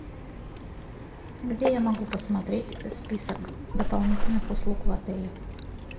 где я могу посмотреть список дополнительных услуг в отеле